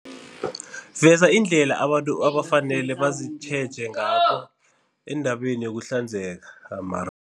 Veza indlela abantu abafanele bazitjheje ngakho endabeni yokuhlanzeka